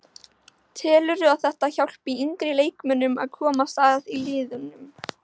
Telurðu að þetta hjálpi yngri leikmönnum að komast að í liðunum?